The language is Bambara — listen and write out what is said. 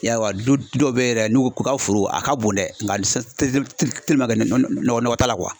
I y'a wa dɔw bɛ yɛrɛ n'u u ka foro a ka bon dɛ nka nɔgɔ nɔgɔ t'a la